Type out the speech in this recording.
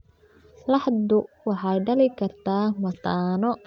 Laxdu waxay dhali kartaa mataano.